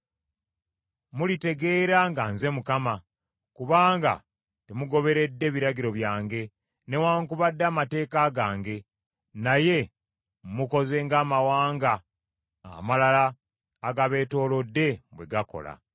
Mulitegeera nga nze Mukama , kubanga temugoberedde biragiro byange newaakubadde amateeka gange, naye mukoze ng’amawanga amalala agabeetoolodde bwe gakola.”